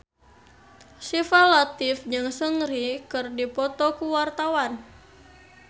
Syifa Latief jeung Seungri keur dipoto ku wartawan